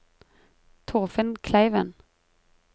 Torfinn Kleiven